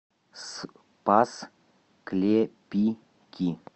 спас клепики